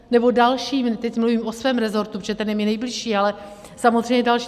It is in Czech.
Nebo další, teď mluvím o svém resortu, protože ten je mi nejbližší, ale samozřejmě další.